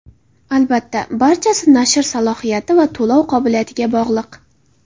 Albatta, barchasi nashr salohiyati va to‘lov qobiliyatiga bog‘liq.